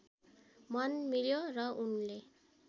मन मिल्यो र उनले